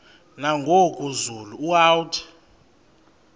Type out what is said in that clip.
nangoku zulu uauthi